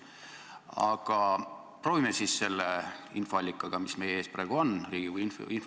Aga proovime siis kasutada seda infoallikat, kes on praegu meie ees Riigikogu infotunnis.